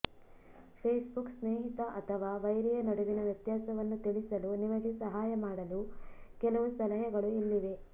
Facebook ಸ್ನೇಹಿತ ಅಥವಾ ವೈರಿಯ ನಡುವಿನ ವ್ಯತ್ಯಾಸವನ್ನು ತಿಳಿಸಲು ನಿಮಗೆ ಸಹಾಯ ಮಾಡಲು ಕೆಲವು ಸಲಹೆಗಳು ಇಲ್ಲಿವೆ